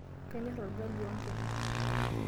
Kanyorr olgali ompuka.